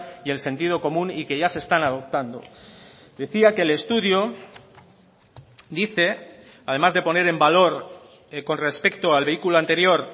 y el sentido común y que ya se están adoptando decía que el estudio dice además de poner en valor con respecto al vehículo anterior